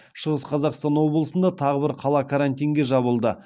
шығыс қазақстан облысында тағы бір қала карантинге жабылды